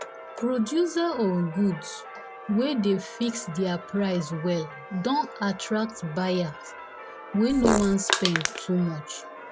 producer of goods goods wey dey fix their price well don attract buyers wey no wan spend too much.